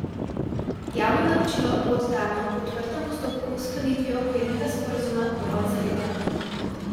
Javno naročilo bo oddano po odprtem postopku s sklenitvijo okvirnega sporazuma do konca leta.